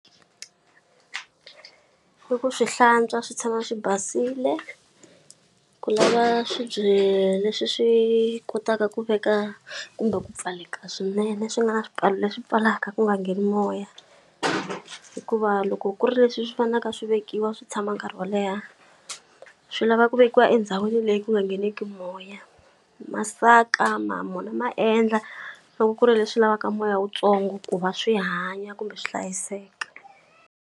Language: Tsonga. I ku swi hlantswa swi tshama swi basile, ku lava swibye leswi swi kotaka ku veka kumbe ku pfaleka swinene swi nga na swipfalo leswi pfalaka ku nga ngheni moya. Hikuva loko ku ri leswi swi faneleke a swi vekiwa swi tshama nkarhi wo leha, swi lava ku vekiwa endhawini leyi ku nga ngheneki moya. Masaka ma wona ma endla loko ku ri leswi lavaka moya wuntsongo ku va swi hanya kumbe swi hlayiseka.